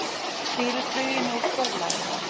Stýrir fluginu úr fjarlægð